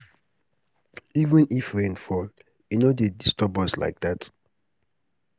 even if rain fall e no dey disturb us like dat.